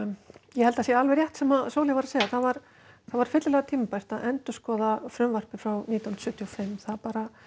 ég held það sé alveg rétt sem Sóley var að segja það var það var fyllilega tímabært að endurskoða frumvarpið frá sjötíu og fimm það